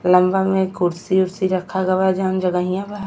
लम्बा में कुर्सी उर्सी रखा गवा जोन जगहिया बा।